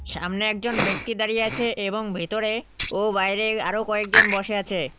সামনে একজন ব্যক্তি দাঁড়িয়ে আছে এবং ভেতরে ও বাইরে আরও কয়েকজন বসে আছে।